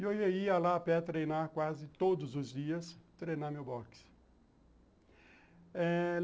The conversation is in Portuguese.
E eu ia lá a pé treinar quase todos os dias, treinar meu boxe.